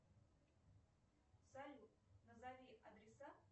салют назови адреса